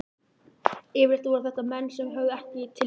Yfirleitt voru þetta menn sem höfðuðu ekki til mín.